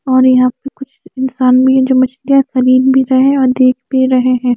और यहाँ पे कुछ इंशान भी है जो मछलिया खरीद भी रहे है और देख भी रहे है।